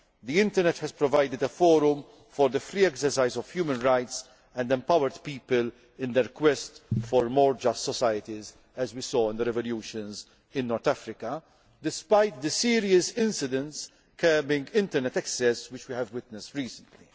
The internet has provided a forum for the free exercise of human rights and empowered people in their quest for more just societies, as we saw in the revolutions in North Africa despite the serious incidents curbing internet access which we have witnessed recently.